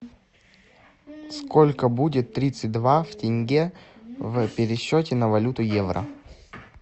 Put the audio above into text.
сколько будет тридцать два в тенге в пересчете на валюту евро